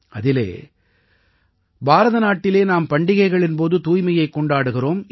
அதிலே பாரத நாட்டிலே நாம் பண்டிகைகளின் போது தூய்மையைக் கொண்டாடுகிறோம்